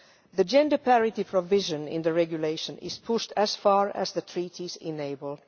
The gender parity provision in the regulation is pushed as far as the Treaties enable.